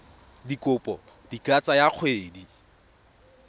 dikopo di ka tsaya dikgwedi